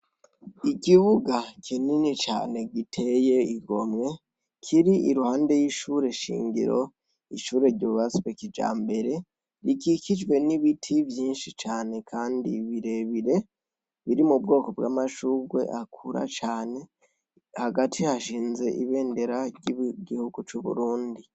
Ikibuga kinini cane giteye igomwe kiri iruhande y'ishure shingiro ishure ryubatswe kijambere rikikijwe n'ibiti vyinshi cane kandi birebire biri mu bwoko bw'amashurwe akura cane, hagati hashinze ibendera ry'igihugu c'Uburundi.